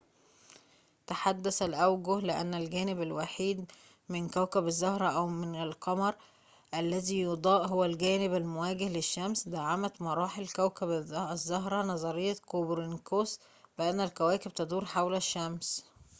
تحدث الأوجه لأن الجانب الوحيد من كوكب الزهرة أو من القمر الذي يُضاء هو الجانب المواجه للشمس. دعمت مراحل كوكب الزهرة نظرية كوبرنيكوس بأن الكواكب تدور حول الشمس